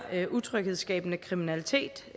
utryghedsskabende kriminalitet